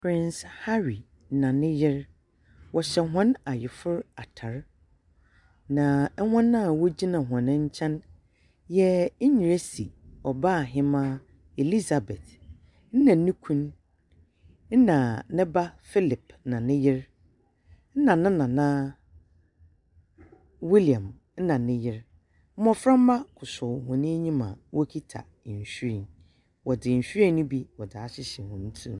Prince Hurry na ne yer. Wɔhyɛ hɔn ayefor atar, na hɔn a wɔgyina hɔn nkyɛn yɛ Enyirisi Ɔbaahembaa Elizabeth na no kun, na ne ba Philip na ne yer, na ne Nana William na ne yer. Mboframba kosow hɔn enyim a wɔkita nhwiren. Wɔdze nhwiren no bi wɔdze ahyehyɛ hɔn tsir mu.